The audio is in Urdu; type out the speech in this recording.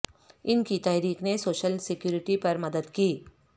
ان کی تحریک نے سوشل سیکورٹی پر مدد کی